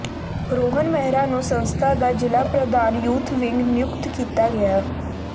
ਰੋਹਨ ਮਹਿਰਾ ਨੂੰ ਸੰਸਥਾ ਦਾ ਜਿਲ੍ਹਾ ਪ੍ਰਧਾਨ ਯੂਥ ਵਿੰਗ ਨਿਯੁੱਕਤ ਕੀਤਾ ਗਿਆ